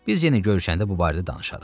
Biz yenə görüşəndə bu barədə danışarıq.